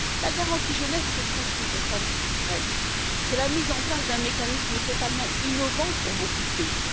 La garantie jeunesse, c'est presque une réforme structurelle, c'est la mise en place d'un mécanisme totalement innovant pour beaucoup de pays.